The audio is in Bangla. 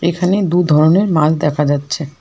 এখানে দু ধরনের মাছ দেখা যাচ্ছে।